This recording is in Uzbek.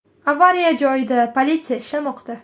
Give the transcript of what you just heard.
Avariya joyida politsiya ishlamoqda.